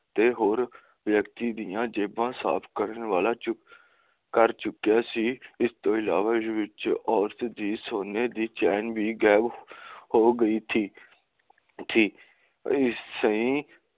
ਤੇ ਹੋਰ ਵਿਅਕਤੀ ਦੀਆਂ ਜੇਬਾਂ ਸਾਫ ਕਰਨ ਵਾਲਾ ਕਰ ਚੁੱਕਿਆ ਸੀ ਇਸਤੋਂ ਅਲਾਵਾ ਇਸ ਵਿੱਚ ਔਰਤ ਦੀ ਸੋਂਨੇ ਦੀ ਚੇਨ ਵੀ ਗਾਇਬ ਹੋ ਗਈ ਥੀ ਸੀ